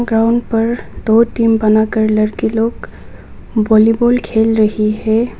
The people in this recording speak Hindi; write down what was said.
ग्राउंड पर दो टीम बनाकर लड़के लोग वॉलीबॉल खेल रही है।